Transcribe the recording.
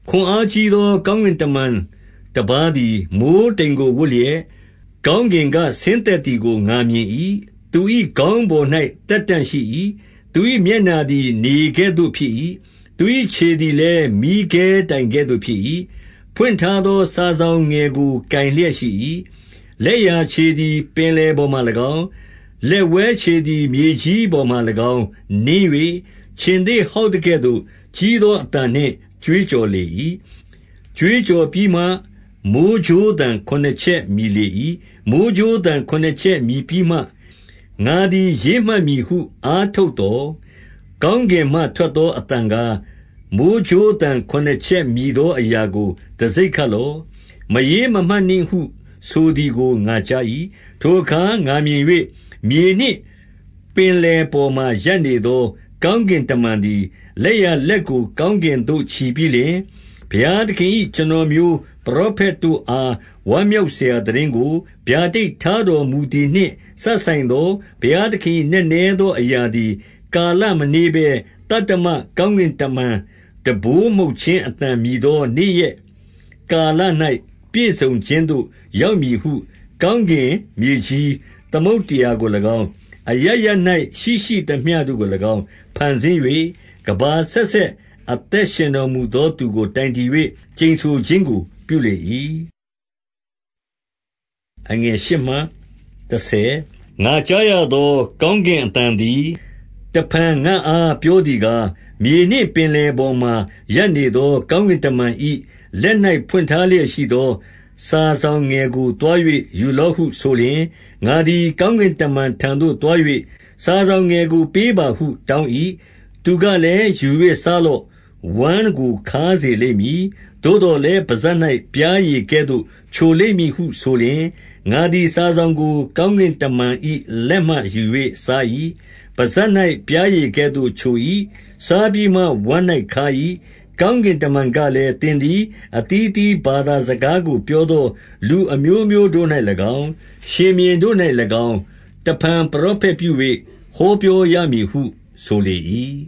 ခွန်အားကြီးသော ကောင်းကင်တမန်တပါးသည် မိုဃ်းတိမ်ကို ဝတ်လျက်၊ ကောင်းကင်က ဆင်းသက် သည်ကို ငါမြင်၏။ သူ၏ခေါင်းပေါ်၌ သက်တံ့ရှိ၏။ သူ၏ မျက်နှာသည်နေကဲ့သို့ဖြစ်၏။ သူ၏ ခြေသည်လည်း မီးခဲတိုင်ကဲ့သို့ဖြစ်၏။ ဖွင့်ထားသော စာစောင်ငယ်ကိုကိုင်လျက်ရှိ၏။ လက်ျာခြေသည်ပင်လယ်ပေါ်မှာ၎င်း ၊ လက်ဝဲခြေသည် မြေကြီးပေါ်မှာ ၎င်း နင်း၍ ၊ ခြင်္သေ့ဟောက်သကဲ့သို့ ကြီးသောအသံနှင့် ကြွေးကြော်လေ၏။ ကြွေးကြော်ပြီးမှ မိုဃ်းကြိုးသံ ခုနစ်ချက်မြည်လေ၏။ မိုဃ်းကြိုးသံ ခုနစ်ချက်မြည်ပြီးမှ ငါသည်ရေးမှတ်မည်ဟု အားထုတ်သော် ၊ ကောင်းကင်မှ ထွက်သော အသံကား၊ မိုဃ်းကြိုးသံခုနစ် ချက်မြည်သောအရာကို တံဆိပ်ခတ်လော့။ မရေးမမှတ်နှင့်ဟု ဆိုသည်ကို ငါကြား ၏။ ထိုအခါ ငါမြင်၍ မြေနှင့်ပင်လယ်ပေါ်မှာ ရပ်နေသော ကောင်းကင်တမန်သည်၊ လက်ျာလက်ကို ကောင်းကင်သို့ချီပြီးလျှင်၊ ဘုရားသခင်၏ ကျွန်တော်မျိုးပရောဖက်တို့အား ဝမ်းမြောက် စရာသိတင်းကို ဗျာဒိတ်ထားတော်မူသည် နှင့်စပ်ဆိုင်သော ဘုရားသခင်၏ နက်နဲသော အရာ သည်၊ ကာလမနှေးဘဲ သတ္တမကောင်းကင်တမန် တံပိုး မှုတ်ခြင်း အသံမြည်သော နေ့ရက်ကာလ၌ ပြည့်စုံခြင်းသို့ ရောက်မည် ဟုကောင်းကင်၊ မြေကြီး၊ သမုဒ္ဒရာကို၎င်း ၊ အရပ်ရပ်၌ရှိရှိသမျှတို့ကို၎င်း၊ ဖန်ဆင်း၍ ကမ္ဘာ အဆက်ဆက် အသက်ရှင်တော်မူသော သူကို တိုင်တည် ၍ ကျိန်ဆိုခြင်းကို ပြုလေ၏။ ငါကြားရသော ကောင်းကင်အသံသည် တဖန် ငါ့အား ပြောသည်ကား၊ မြေနှင့်ပင်လယ်ပေါ်မှာ ရပ်နေ သော ကောင်းကင်တမန်၏ လက်၌ဖွင့်ထားလျက်ရှိသော စာစောင်ငယ်ကို သွား၍ ယူလော့ဟု ဆိုလျှင်၊ ငါသည် ကောင်းကင်တမန်ထံသို့သွား၍ စာစောင်ငယ်ကို ပေးပါဟု တောင်း၏။ သူကလည်း ယူ၍စားလော့။ ဝမ်းကိုခါးစေလိမ့်မည်။ သို့သော်လည်း ပစပ်၌ ပျားရည်ကဲ့သို့ချိုလိမ့်မည်ဟုဆိုလျှင် ၊ ငါသည် စာစောင်ကို ကောင်းကင်တမန်၏လက်မှ ယူ၍စား၏။ ပစပ်၌ပျားရည်ကဲ့သို့ချို၏။ စားပြီးမှ ဝမ်း၌ခါး၏။ ကောင်းကင်တမန်ကလည်း၊ သင်သည် အသီးအသီးဘာသာစကားကို ပြောသော လူအမျိုးမျိုး တို့၌၎င်း၊ ရှင်ဘုရင်တို့၌၎င်း၊ တဖန် ပရောဖက်ပြု၍ ဟောပြောရမည်ဟု ဆိုလေ၏။